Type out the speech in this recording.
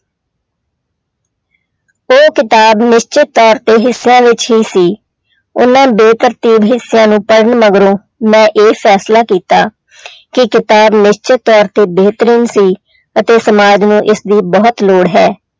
ਉਹ ਕਿਤਾਬ ਨਿਸ਼ਚਿਤ ਤੌਰ ਤੇ ਹਿੱਸਿਆਂ ਵਿੱਚ ਹੀ ਸੀ, ਉਹਨਾਂ ਬੇਤਰਤੀਬ ਹਿੱਸਾਂ ਨੂੰ ਪੜ੍ਹਨ ਮਗਰੋਂ ਮੈਂ ਇਹ ਫੈਸਲਾ ਕੀਤਾ ਕਿ ਕਿਤਾਬ ਨਿਸ਼ਚਿਤ ਤੌਰ ਤੇ ਬੇਹਤਰੀਨ ਸੀ ਅਤੇ ਸਮਾਜ ਨੂੰ ਇਸਦੀ ਬਹੁਤ ਲੋੜ ਹੈ।